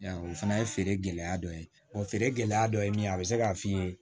o fana ye feere gɛlɛya dɔ ye feere gɛlɛya dɔ ye min ye a bɛ se k'a f'i ye